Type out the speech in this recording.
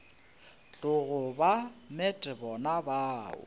tlogo ba met bona bao